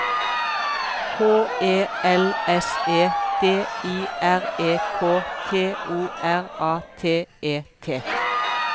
H E L S E D I R E K T O R A T E T